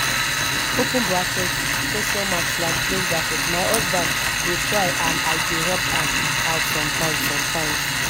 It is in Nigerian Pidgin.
open bracket question mark slash close bracket my husband dey try and i dey help am out sometimes sometimes